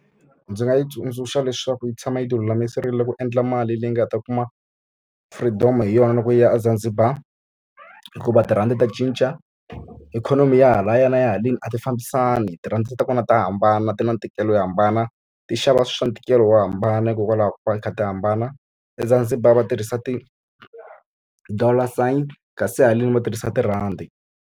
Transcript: Ndzi nga yi tsundzuxa leswaku yi tshama yi ti lulamiserile ku endla mali leyi nga ta kuma freedom-o hi yona loko yi ya eZanzibar. Hikuva tirhandi ta cinca, ikhonomi ya halaya na ya haleni a ti fambisani. Tirhandi ta kona ta hambana ti na ntikelo yo hambana, ti xava swilo swa ntikelo wo hambana hikokwalaho ka ku va ti kha ti hambana. EZanzibar va tirhisa ti-dollar sign kasi haleni va tirhisa tirhandi.